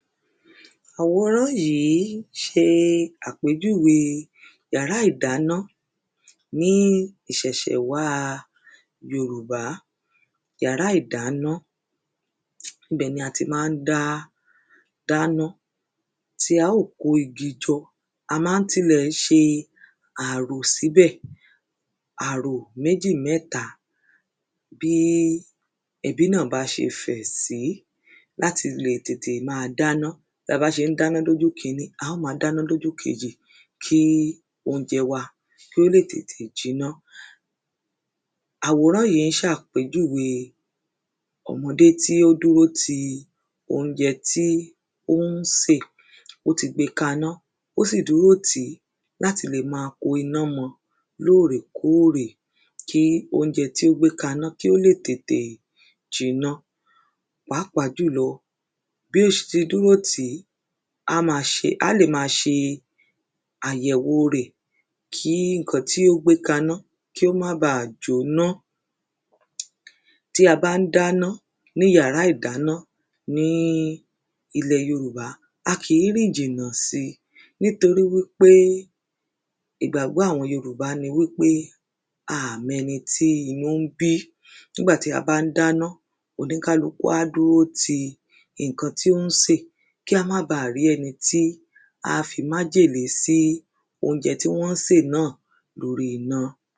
Òroró yì s̩e àpejúwe ìyàrá ìdáná ní ìs̩è̩s̩è̩ wa yorùbá. Ìyàrá ìdáná ibè̩ ni a ti má n dá dáná, tí a ó kó igi jo̩ a má n ti lè̩ s̩e àrò síbè̩, àrò méjì, mé̩ta bí e̩bínà bá s̩e fè̩ sí láti lè tètè má a dáná bí a bá s̩é n dáná lójú ìkiní, a ó ma dáná lójú kej̀ì kí óúnje̩ wa kólè tètè jiná. Àwòrán yi s̩e àpéjùwe o̩mo̩dé tí ó dúró ti óúnje̩ tí ó ń sè. Ó ti gbe kaná, ó sì dúró tì, láti lè ma ko iná mo̩ lóòrè kórè kí oúnje̩ tí ó gbé kaná, kí ó lè tètè jiná pàápàá jù lo̩ bé s̩ te dúró tì á ma s̩e á lè ma s̩e àyè̩wo rè̩ kí ǹkan tí ó gbé kaná kí ó má ba jóná. Tí a bá n dáná ní yàrá ìdáná ní ìle̩ yorùba, a kìí rìn jìnà sí nítorí wípé ìgbàgbó̩ àwo̩n yorùbá ni wípé a à mo̩ e̩ni tí inú n bí. Nígbàtí a bá n dáná, oníkálukú á dúró ti ǹkan tí ó n sè kí a má bà rí e̩ni tí á fi májèlè sí óúnje̩ tí wó̩n sè na lórí iná.